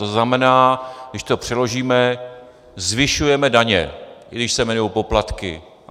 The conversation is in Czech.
To znamená, když to přeložíme, zvyšujeme daně, i když se jmenují poplatky.